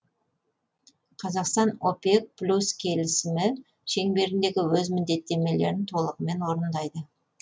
қазақстан опек плюс келісімі шеңберіндегі өз міндеттемелерін толығымен орындайды